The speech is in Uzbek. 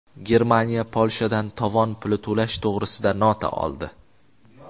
Germaniya Polshadan tovon puli to‘lash to‘g‘risida nota oldi.